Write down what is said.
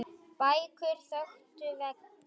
Bækur þöktu veggi.